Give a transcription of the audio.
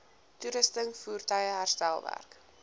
toerusting voertuie herstelwerk